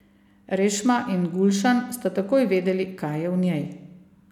Rešma in Gulšan sta takoj vedeli, kaj je v njej.